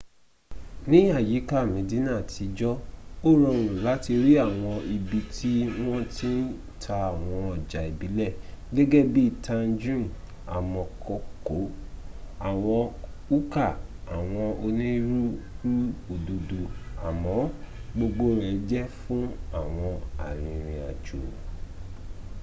ní àyíká medina àtijọ́ ó rọrùn láti rí àwọn ibi tí wọ́n ti ń ta àwọn ọjà ìbílẹ̀ gẹgé bi tangines àmọkòkò. awọ hookah àwọn onírúurú òdòdó àmó gbogbo rẹ̀ jẹ́ fún àwọn arìrìn-àjò.